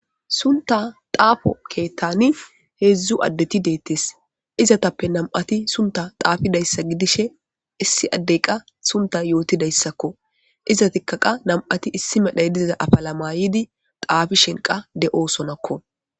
Sunta xafo ketani hezdu adeti detes izatape nam'ati sunta xafidaysa gidishin issi adey qa sunta yotidaysako izetika qa nam'ati issi medhay diza afala ma'idi xafishinka de'osona.